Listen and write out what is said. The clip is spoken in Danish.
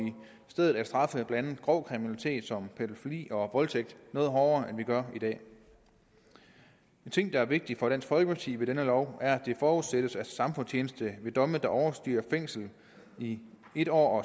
stedet at straffe blandt andet grov kriminalitet som pædofili og voldtægt noget hårdere end vi gør i dag en ting der er vigtigt for dansk folkeparti ved den her lov er at det forudsættes at samfundstjeneste ved domme der overstiger fængsel i en år